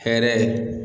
Hɛrɛ